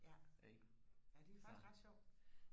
ja ja det er faktisk ret sjovt